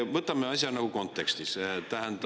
Võtame asja nagu kontekstis, tähendab …